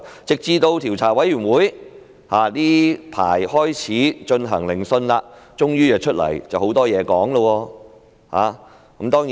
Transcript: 直至調查委員會最近開始進行聆訊，他們才終於出現，而且說了很多話。